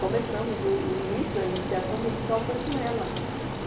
Começamos, o o início, a iniciação musical foi com ela.